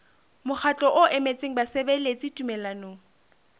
mokgatlo o emetseng basebeletsi tumellanong